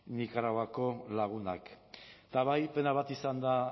nikaraguako lagunak eta bai pena bat izan da